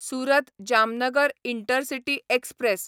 Surat Jamnagar intercity express